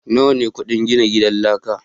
nawa ne kudin gina gidan laka.